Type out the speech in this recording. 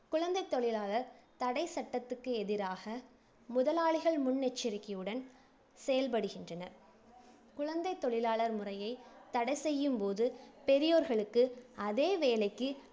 குழந்தைத் தொழிலாளர் தடைச்சட்டத்துக்கு எதிராக, முதலாளிகள் முன்னெச்சரிக்கையுடன் செயல்படுகின்றனர். குழந்தைத் தொழிலாளர் முறையை தடைசெய்யும் போது பெரியோர்களுக்கு அதே வேலைக்கு